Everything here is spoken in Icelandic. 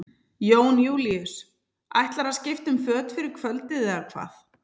Jón Júlíus: Ætlarðu að skipta um föt fyrir kvöldið eða hvað?